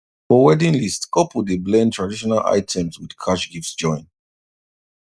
for wedding list couple dey blend traditional items with cash gifts join